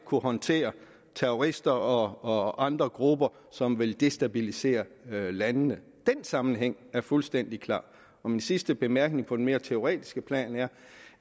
kunne håndtere terrorister og andre grupper som vil destabilisere landene den sammenhæng er fuldstændig klar min sidste bemærkning på det mere teoretiske plan er